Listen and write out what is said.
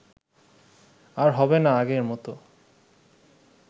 আর হবে না আগের মত